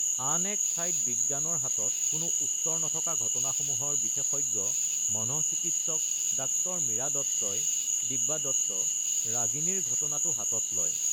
আন এক ঠাইত বিজ্ঞানৰ হাতত কোনো উত্তৰ নথকা ঘটনাসমূহৰ বিশেষজ্ঞ মনঃচিকিৎসক ডাঃ মীৰা দত্তই (দিব্যা দত্ত) ৰাগিনীৰ ঘটনাটো হাতত লয়।